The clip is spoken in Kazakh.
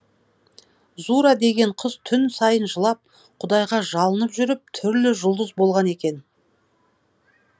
зура деген қыз түн сайын жылап құдайға жалынып жүріп түрлі жұлдыз болған екен